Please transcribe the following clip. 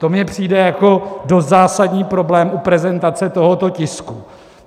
To mi přijde jako dost zásadní problém u prezentace tohoto tisku.